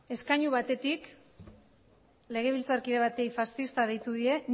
eskainu batetik legebiltzarkide bati faszista deitu die